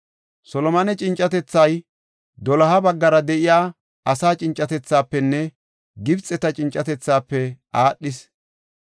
Solomone cincatethay doloha baggara de7iya asaa cincatethaafenne Gibxeta cincatethaafe aadhees.